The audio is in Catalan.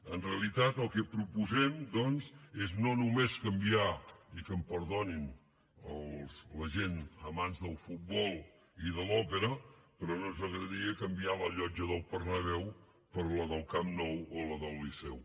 en realitat el que proposem doncs és no només canviar i que em perdonin la gent amants del futbol i de l’òpera però no ens agradaria canviar la llotja del bernabéu per la del camp nou o la del liceu